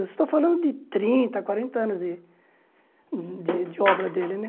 Você está falando de trinta, quarenta anos de de de obra dele, né?